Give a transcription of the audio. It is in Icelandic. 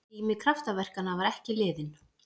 Tími kraftaverkanna var ekki liðinn!